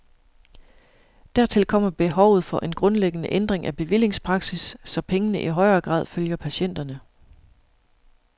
Dertil kommer behovet for en grundlæggende ændring af bevillingspraksis, så pengene i højere grad følger patienterne.